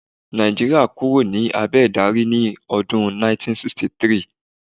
Nàìjíríà kúrò ní abẹ̀ ìdarí ní ọdún 1963